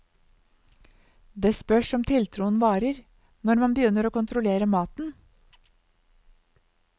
Det spørs om tiltroen varer, når man begynner å kontrollere maten.